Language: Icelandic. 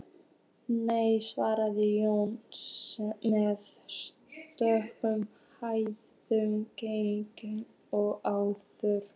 Nei, svaraði Jón með sömu hægðinni og áður.